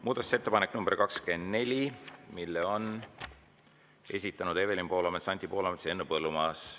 Muudatusettepaneku nr 24 on esitanud Evelin Poolamets, Anti Poolamets ja Henn Põlluaas.